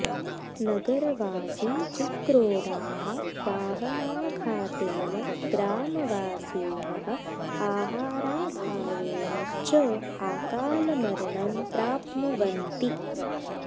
नगरवासी चिक्रोडाः वाहनाघातेन ग्रामवासिनः आहाराभावेन च आकालमरणं प्राप्नुवन्ति